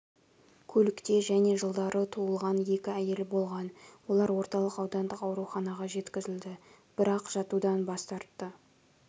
көлікте және жылдары туылған екі әйел болған олар орталық аудандық ауруханаға жеткізілді бірақжатудан бас тартты